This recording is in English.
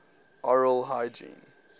oral hygiene